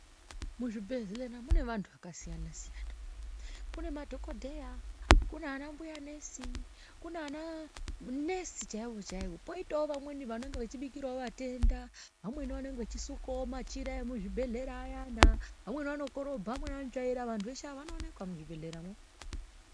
Muzvibhedhlera mune vandu vakasiyana siyana kune madhokodheya kune ana mbuya nurse kune manurse chaiwo chaiwo poitavo vamweni vanenge vachibikirawo vatenda vamweni vanenge vachisukawo machira emuzvibhedhlera ayana vamweni vanokorobha vamweni vanotsvaira vandu veshee vanooneka muzvibhedhlera imwomo.